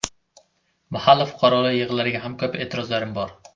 Mahalla fuqarolar yig‘inlariga ham ko‘p e’tirozlarim bor.